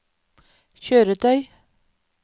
kjøretøy